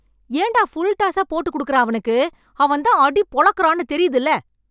ஏன் டா ஃபுல் டாஸா போட்டுக் குடுக்கற அவனுக்கு? அவன் தான் அடி பொளக்குறான்னு தெரியுதில்ல?